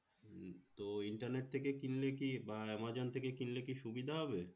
তো internet থেকে কিনলে কি বা আমাজন থেকে কিনলে কি সুবিধা হবে?